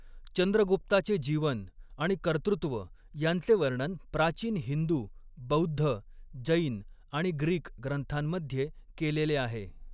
चंद्रगुप्ताचे जीवन आणि कर्तृत्व यांचे वर्णन प्राचीन हिंदू, बौद्ध, जैन आणि ग्रीक ग्रंथांमध्ये केलेले आहे.